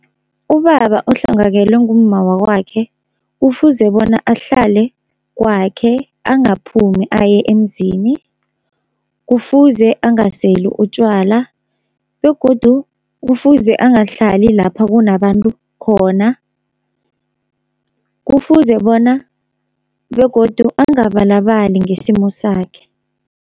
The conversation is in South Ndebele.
Ubaba ohlongakelwe ngumma wakwakhe kufuze bona ahlale kwakhe angaphumi aye emzini. Kufuze angaseli utjwala begodu kufuze angahlali lapha kunabantu khona. Kufuze bona begodu angabalabali ngesimo sakhe.